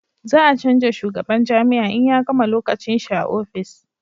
za a canja shugaban jami'a in ya gama lokacin shi a ofis